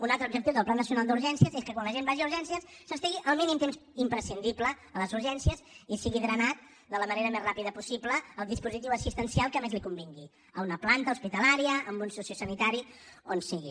un altre objectiu del pla nacional d’urgències és que quan la gent vagi a urgències s’estigui el mínim temps imprescindible a les urgències i sigui drenat de la manera més ràpida possible al dispositiu assistencial que més li convingui a una planta hospitalària a un sociosanitari on sigui